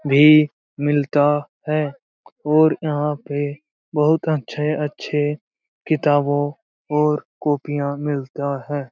भी मिलता है और यहाँ पे बहुत अच्छे-अच्छे किताबों और कॉपियां मिलता है।